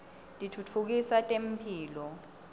titfutfukisa temphilo